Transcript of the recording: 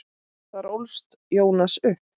Þar ólst Jónas upp.